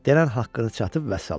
Denən haqqı çatıb vəssalam.